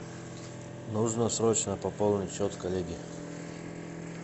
нужно срочно пополнить счет коллеге